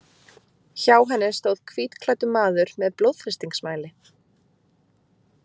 Hjá henni stóð hvítklæddur maður með blóðþrýstingsmæli.